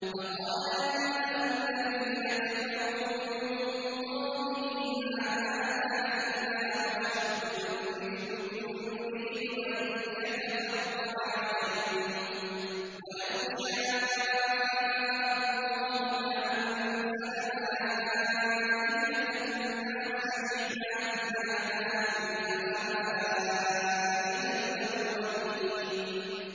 فَقَالَ الْمَلَأُ الَّذِينَ كَفَرُوا مِن قَوْمِهِ مَا هَٰذَا إِلَّا بَشَرٌ مِّثْلُكُمْ يُرِيدُ أَن يَتَفَضَّلَ عَلَيْكُمْ وَلَوْ شَاءَ اللَّهُ لَأَنزَلَ مَلَائِكَةً مَّا سَمِعْنَا بِهَٰذَا فِي آبَائِنَا الْأَوَّلِينَ